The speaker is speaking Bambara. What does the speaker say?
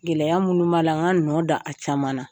Gɛlɛya minnu b'a la nga nɔ da a caman na.